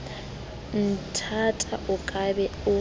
nthata o ka be o